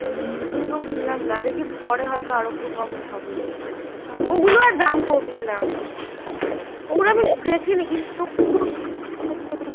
ঝুমকো কিনলাম না দেখি পরে হয় তো আরো একটু কম হবে এটা এই গুলো আর দাম কমবে না এইগুল আমি দেখিনি কিন্তু